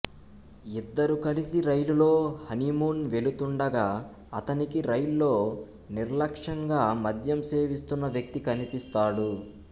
ఇద్దరూ కలిసి రైలులో హనీమూన్ వెళుతుండగా అతనికి రైల్లో నిర్లక్ష్యంగా మద్యం సేవిస్తున్న వ్యక్తి కనిపిస్తాడు